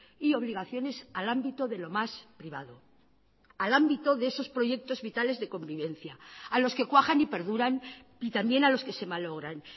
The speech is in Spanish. y obligaciones al ámbito de lo más privado al ámbito de esos proyectos vitales de convivencia a los que cuajan y perduran y también a los que se malogran